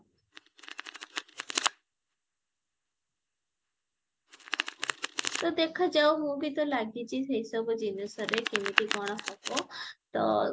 ତ ଦେଖା ଯାଉ ମୁଁ ବି ତ ଲାଗିଚି ଏସବୁ ଜିନିଷରେ କେମିତି କଣ ହବ ତ